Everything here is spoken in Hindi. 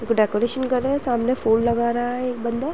एक डेकोरेशन कर रहे हैं। सामने फूल लगा रहा है एक बंदा।